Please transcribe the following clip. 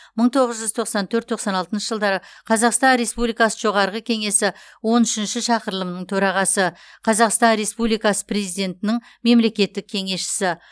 мың тоғыз жүз тоқсан төрт тоқсан алтыншы жылдары қазақстан республикасы жоғарғы кеңесі он үшінші шақырылымының төрағасы қазақстан республикасы президентінің мемлекеттік кеңесшісі